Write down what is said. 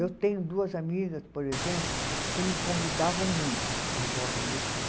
Eu tenho duas amigas, por exemplo, que me convidavam muito agora onde estou.